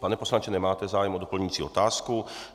Pane poslanče, nemáte zájem o doplňující otázku?